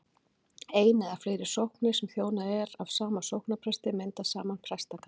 ein eða fleiri sóknir sem þjónað er af sama sóknarpresti mynda saman prestakall